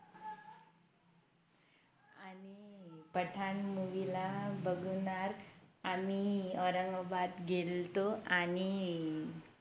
Pathan Movie ला बघणार आम्ही औरंगाबाद गेल्तो आणि